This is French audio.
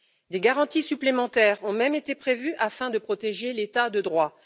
Des garanties supplémentaires ont même été prévues afin de protéger l'état de droit.